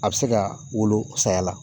A bɛ se ka wolo saya la